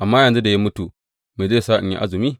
Amma yanzu da ya mutu, me zai sa in yi azumi?